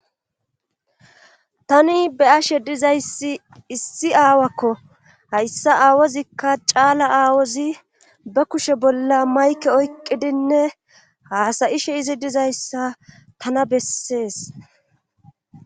tani be'ashe dizayssi issi aawakko hayssa aawozikka caala aawozi ba kushe bolla mayke oyqqidinne haasayishe izi dizayssa tana bessees